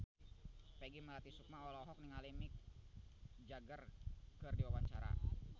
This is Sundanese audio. Peggy Melati Sukma olohok ningali Mick Jagger keur diwawancara